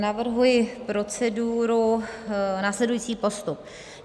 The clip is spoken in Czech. Navrhuji proceduru, následující postup: